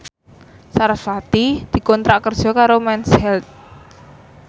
sarasvati dikontrak kerja karo Mens Health